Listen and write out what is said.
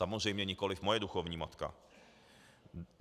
Samozřejmě nikoliv moje duchovní matka.